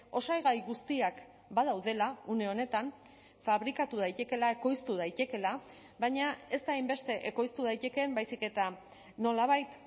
osagai guztiak badaudela une honetan fabrikatu daitekeela ekoiztu daitekeela baina ez da hainbeste ekoiztu daitekeen baizik eta nolabait